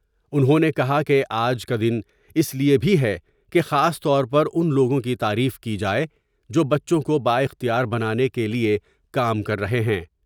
انہوں نے کہا کہ آج کا دن اس لئے بھی ہے کہ خاص طور پر ان لوگوں کی تعریف کی جائے جو بچوں کو با اختیار بنانے کے لئے کام کر رہے ہیں ۔